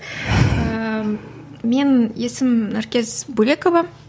ііі мен есімім наркес бөлекова